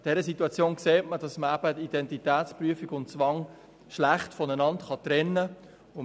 An dieser Situation sieht man, dass man Identitätsprüfung und Zwang schlecht voneinander trennen kann.